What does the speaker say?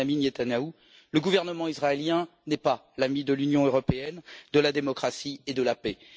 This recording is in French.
Benyamin Netanyahou, le gouvernement israélien n'est pas l'ami de l'Union européenne, de la démocratie et de la paix.